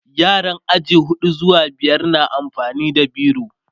yaran aji huɗu zuwa biyar na amfani da biro